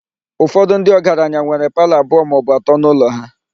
Ụfọdụ ndị ọgaranya nwere palọ abụọ maọbụ atọ n'ụlọ ha.